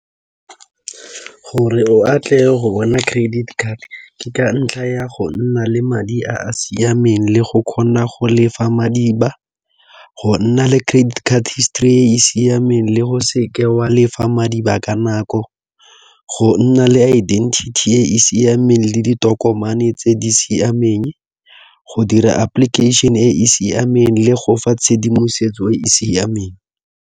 Gore o atle go bona credit card, ke ka ntlha ya go nna le madi a a siameng le go kgona go lefa madiba. Go nna le credit card histori e e siameng, le go se ke wa lefa madiba ka nako. Go nna le identity e e siameng, le ditokomane tse di siameng go dira application e e siameng le go fa tshedimosetso e e siameng.